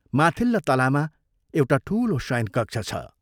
माथिल्ला तलामा एउटा ठूलो शयनकक्ष छ।